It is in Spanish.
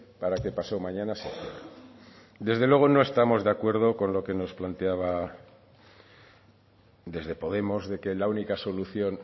para que pasado mañana se desde luego no estamos de acuerdo con lo que nos planteaba desde podemos de que la única solución